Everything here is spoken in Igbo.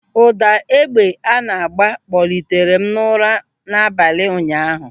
Ụda egbe a na-agba kpọtere m n'ụra n'abalị ụnyaahụ.